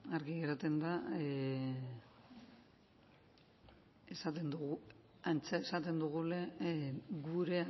argi geratzen da esaten dugula gurea